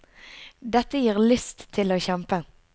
Dette gir lyst til å kjempe.